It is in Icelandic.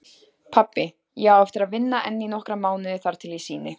Pabbi, ég á eftir að vinna enn í nokkra mánuði þar til ég sýni.